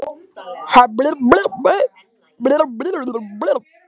Hugsanirnar flóttalegar og það var spenna í líkamanum.